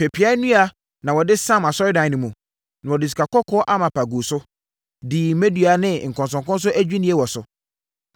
Pepeaa nnua na wɔde samm Asɔredan no mu, na wɔde sikakɔkɔɔ amapa guu so, dii mmɛdua ne nkɔnsɔnkɔnsɔn adwinnie wɔ so.